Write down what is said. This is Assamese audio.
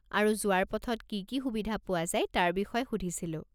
আৰু যোৱাৰ পথত কি কি সুবিধা পোৱা যায় তাৰ বিষয়ে সুধিছিলোঁ।